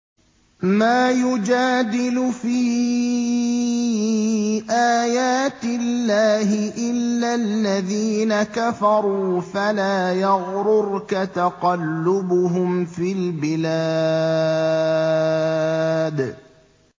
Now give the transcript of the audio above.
مَا يُجَادِلُ فِي آيَاتِ اللَّهِ إِلَّا الَّذِينَ كَفَرُوا فَلَا يَغْرُرْكَ تَقَلُّبُهُمْ فِي الْبِلَادِ